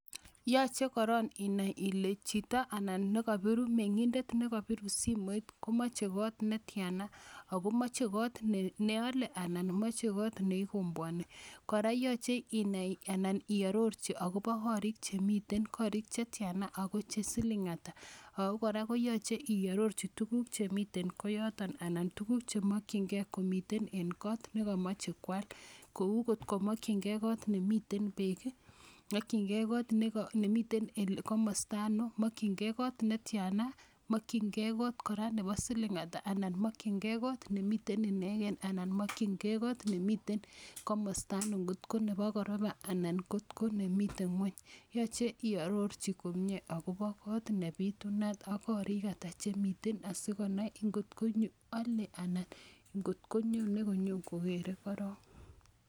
Yoche korong ini ile chito anan ne kobiru meng'indet ne kobiru simoit ko moche kot ne tiana ago oche kot ne ole anan moche got ne igombwoni. Kora yoche inai anan iororji agobo korik chemiten, korik che tyana ago che siling ata, ago kora ko yoche iororji tuguk che miten koyotn anan tuguk chemokin ge komiten en kot nekomoche koal, kou kot ko mokinge kot nemiten beek ii, mokinge kot nemiten komosta ano, mokinge kot ne tyana, mokinge kot kora nebo siling ata, mokinge kot nemiten inegen anan mokinge got nemiten komosta ano, ngotko nebo koropa anan kotko nemiten ngweny. Yoche iarorji komye agobo got nebitunat ak korik ata chemitan asikonai angotko ale ana nyone koger korong.